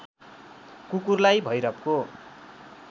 कुकुरलाई भैरवको